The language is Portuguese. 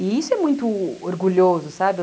E isso é muito orgulhoso, sabe?